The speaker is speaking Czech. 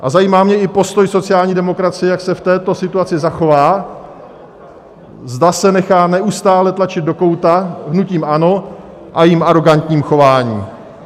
A zajímá mě i postoj sociální demokracie, jak se v této situaci zachová, zda se nechá neustále tlačit do kouta hnutím ANO a jeho arogantním chováním.